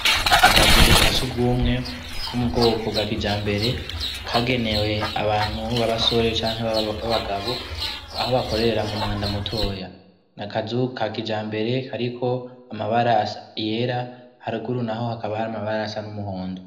Akazu ka sugumwe ko mu bwoko bwa kijambere kagenewe abantu b'abasore canke b'abagabo aho bakorera mu mwanda mutoya nakazu ka kijambere kariko amabara yera haruguru naho hakaba hari amabara asa n'umuhondo.